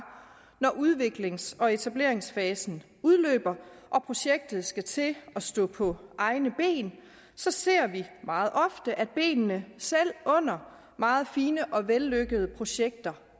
når udviklings og etableringsfasen udløber og projektet skal til at stå på egne ben så ser vi meget ofte at benene selv under meget fine og vellykkede projekter